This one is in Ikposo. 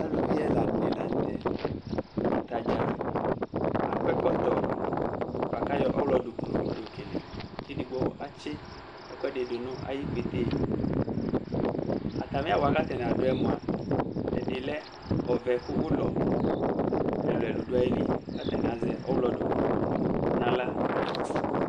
Aluvi ɛla dɩnɩ la nʋ tɛ, ata dza akɔ ɛkɔtɔ bʋa kʋ ayɔ ɔɣlɔdʋklʋ yɔkele kʋ edigbo atsɩ ɛkʋɛdɩ dʋ nʋ ayʋ ikpete yɛ Atamɩ awʋ wanɩ kʋ atanɩ adʋ yɛ mʋa, ɛdɩ lɛ ɔvɛ kʋ ʋlɔ ɛlʋ-ɛlʋ dʋ ayili kʋ atanɩ azɛ ɔɣlɔ dʋklʋ nʋ aɣla